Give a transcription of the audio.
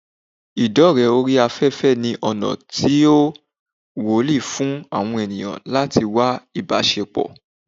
Idore ori afefe ni ona ti o Woli fun awon eniyan lati wá ibasepo